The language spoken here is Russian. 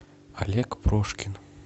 олег прошкин